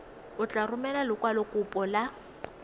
o tla romela lekwalokopo la